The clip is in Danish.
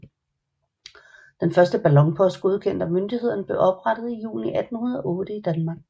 Den første ballonpost godkendt af myndighederne blev oprettet i juni 1808 i Danmark